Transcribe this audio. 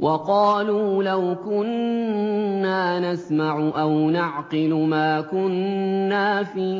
وَقَالُوا لَوْ كُنَّا نَسْمَعُ أَوْ نَعْقِلُ مَا كُنَّا فِي